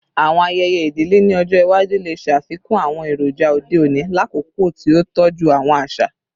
Awọn ayẹyẹ idile ni ọjọ iwaju le ṣafikun awọn eroja ode oni lakoko ti o tọju awọn aṣa